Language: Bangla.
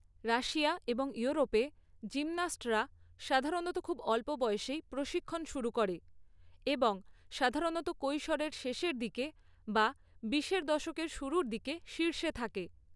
রাশিয়া এবং ইউরোপে জিমন্যাস্টরা সাধারণত খুব অল্প বয়সেই প্রশিক্ষণ শুরু করে এবং সাধারণত কৈশোরের শেষের দিকে বা বিশের দশকের শুরুর দিকে শীর্ষে থাকে।